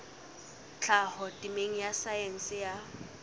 tlhaho temeng ya saense ya